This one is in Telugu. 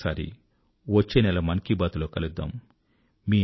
మళ్ళీ ఒకసారి వచ్చే నెల మన్ కీ బాత్ లో కలుద్దాం